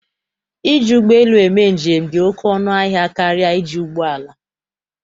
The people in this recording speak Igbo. Iji ụgbọ lu eme njem dị ọkụ ọnụ ahịa karịa iji ụgbọala.